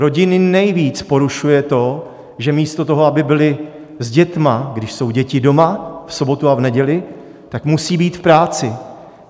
Rodiny nejvíc porušuje to, že místo toho, aby byly s dětmi, když jsou děti doma v sobotu a v neděli, tak musejí být v práci.